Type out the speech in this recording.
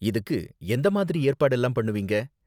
இதுக்கு எந்த மாதிரி ஏற்பாடெல்லாம் பண்ணுவீங்க?